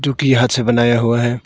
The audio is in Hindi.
की हाथ से बनाया हुआ है।